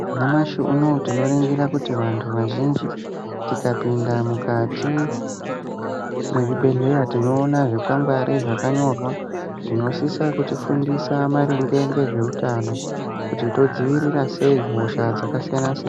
Nyamashi unouyu tinoringira kuti vantu vazvinji tikapinda mukati mwezvibhedhlera tinona zvikwangwari zvakanyorwa. Zvinosisa kuti fundisa maringe ngezvehutano kuti todziirira sei hosha dzakasiyana-siyana.